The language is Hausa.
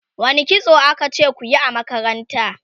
wani kitso akace kuyi a makaranta?